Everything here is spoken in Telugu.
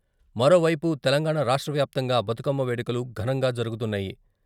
మరోవైపు తెలంగాణ రాష్ట్ర వ్యాప్తంగా బతుకమ్మ వేడుకలు ఘనంగా జరుగుతున్నాయి.